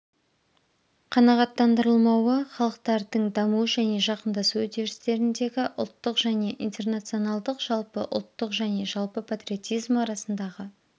қанағаттандырылмауы халықтардың даму және жақындасу үдерістеріндегі ұлттық және интернационалдық жалпы ұлттық және жалпы патриотизм арасындағы